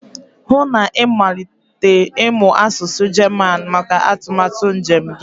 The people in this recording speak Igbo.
hụ na ịmalite ịmụ asụsụ German maka atụmatụ njem gị